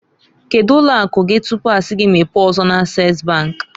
Kedu ụlọ akụ gi tupu a si gi mepee ọzọ na- Ases bank?